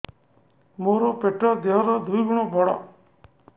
ମୋର ପେଟ ଦେହ ର ଦୁଇ ଗୁଣ ବଡ